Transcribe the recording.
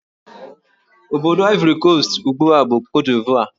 Obodo Ivory Coast ugbu a bụ Cote d'Ivore